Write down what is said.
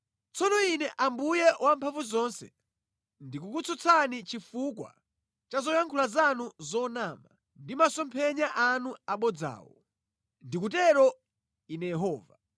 “Tsono Ine Ambuye Wamphamvuzonse ndikukutsutsani chifukwa cha zoyankhula zanu zonama ndi masomphenya anu abodzawo. Ndikutero Ine Yehova.